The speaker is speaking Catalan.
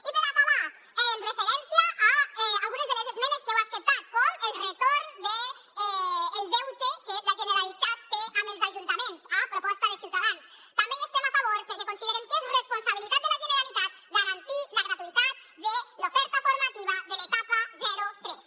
i per acabar en referència a algunes de les esmenes que heu acceptat com el retorn del deute que la generalitat té amb els ajuntaments a proposta de ciutadans també hi estem a favor perquè considerem que és responsabilitat de la generalitat garantir la gratuïtat de l’oferta formativa de l’etapa zero tres